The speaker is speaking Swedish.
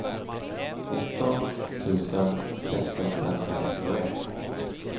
nitton tusen sexhundratrettioett